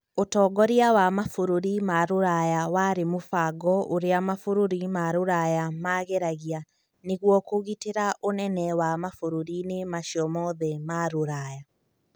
Ũtongoria wa mabũrũri ma Rũraya warĩ mũbango ũrĩa mabũrũri ma rũraya maageragia nĩguo kũgitĩra ũnene wa mabũrũri-inĩ macio mothe ma rũraya.